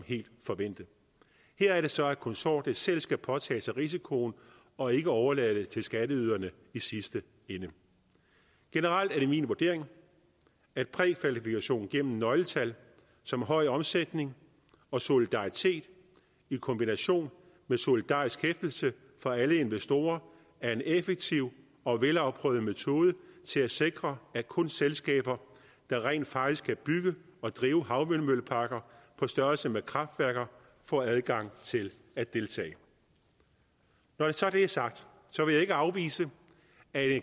forventet her er det så at konsortiet selv skal påtage sig risikoen og ikke overlade det til skatteyderne i sidste ende generelt er det min vurdering at prækvalifikation gennem nøgletal som høj omsætning og solidaritet i kombination med solidarisk hæftelse for alle investorer er en effektiv og velafprøvet metode til at sikre at kun selskaber der rent faktisk kan bygge og drive havvindmølleparker på størrelse med kraftværker får adgang til at deltage når det så er sagt vil jeg ikke afvise at